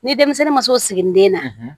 Ni denmisɛnnin ma s'o siginiden na